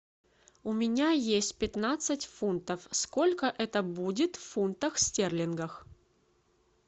у меня есть пятнадцать фунтов сколько это будет в фунтах стерлингов